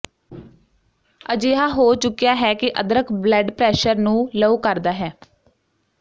ਅਜਿਹਾ ਹੋ ਚੁੱਕਿਆ ਹੈ ਕਿ ਅਦਰਕ ਬਲੱਡ ਪ੍ਰੈਸ਼ਰ ਨੂੰ ਲਓ ਕਰਦਾ ਹੈ